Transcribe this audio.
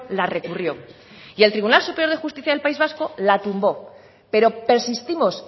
la recurrió y el tribunal superior de justicia del país vasco la tumbó pero persistimos